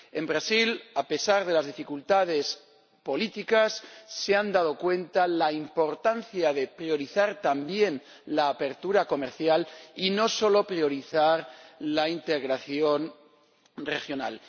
En Brasil, a pesar de las dificultades políticas, se han dado cuenta de la importancia de priorizar también la apertura comercial y no solo priorizar la integración regional.